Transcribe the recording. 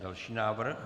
Další návrh.